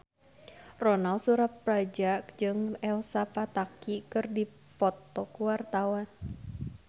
Ronal Surapradja jeung Elsa Pataky keur dipoto ku wartawan